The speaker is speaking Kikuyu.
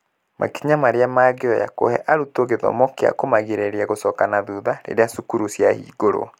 Makinya marĩa mangĩoya kũhe arutwo gĩthomo gĩa kũmagirĩrĩria gũcoka na thutha rĩrĩa cukuru ciahingũrwo.